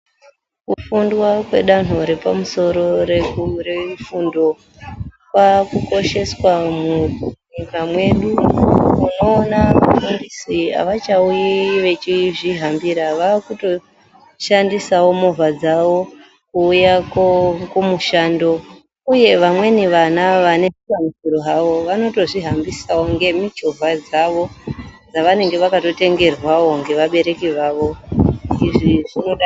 Kufundwa kwedando yepamusoro kwava kukosheswa munyika mwedu unoona vafundisi havachauyi veizvihambira vava kuto shandisawo movha dzawo kuuya kumushando uye vamweni vana nezvikwanisiro zvavo vanoto zvihambisa nemuchovha dzavo dzavanenge vakatotengerwawo nevabareki vavo izvi zvinodadisa.